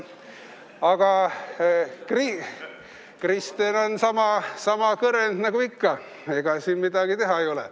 Aga Kristen on sama kõrend nagu ikka, ega siin midagi teha ei ole.